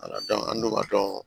an dun b'a dɔn